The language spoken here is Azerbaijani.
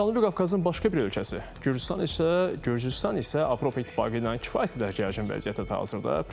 Cənubi Qafqazın başqa bir ölkəsi Gürcüstan isə Gürcüstan isə Avropa İttifaqı ilə kifayət qədər gərgin vəziyyətdədir hazırda.